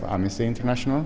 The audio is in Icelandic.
Amnesty International